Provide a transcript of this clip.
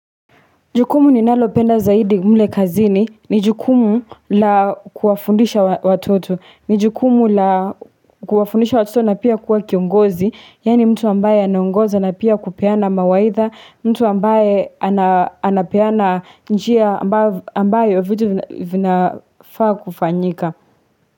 Jukumu ninalopenda zaidi mle kazini, ni jukumu la kuwafundisha watoto, ni jukumu la kuwafundisha watoto na pia kuwa kiongozi, yani mtu ambaye anaongoza na pia kupeana mawaidha, mtu ambaye anapeana njia ambayo vitu vinafaa kufanyika.